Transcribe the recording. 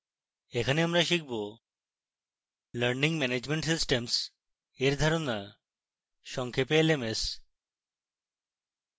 এখানে আমরা শিখব: learning management systems in ধারণা সংক্ষেপে lms